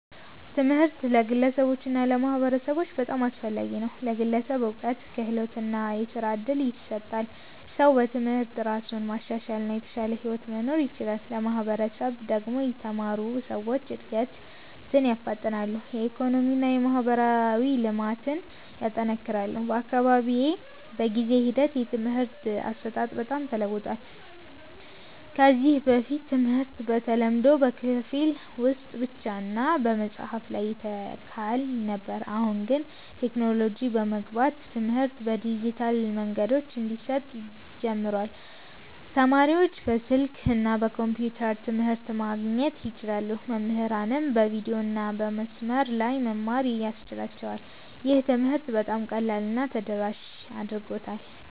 ትምህርት ለግለሰቦች እና ለማህበረሰቦች በጣም አስፈላጊ ነው። ለግለሰብ እውቀት፣ ክህሎት እና የሥራ እድል ይሰጣል። ሰው በትምህርት እራሱን ማሻሻል እና የተሻለ ሕይወት መኖር ይችላል። ለማህበረሰብ ደግሞ የተማሩ ሰዎች እድገትን ያፋጥናሉ፣ የኢኮኖሚ እና የማህበራዊ ልማትን ያጠናክራሉ። በአካባቢዬ በጊዜ ሂደት የትምህርት አሰጣጥ በጣም ተለውጧል። ከዚህ በፊት ትምህርት በተለምዶ በክፍል ውስጥ ብቻ እና በመጽሐፍ ላይ ይተካል ነበር። አሁን ግን ቴክኖሎጂ በመግባት ትምህርት በዲጂታል መንገዶች እንዲሰጥ ጀምሯል። ተማሪዎች በስልክ እና በኮምፒውተር ትምህርት ማግኘት ይችላሉ፣ መምህራንም በቪዲዮ እና በመስመር ላይ መማር ያስችላቸዋል። ይህ ትምህርትን በጣም ቀላል እና ተደራሽ አድርጎታል።